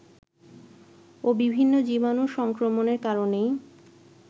ও বিভিন্ন জীবাণু সংক্রমণের কারণেই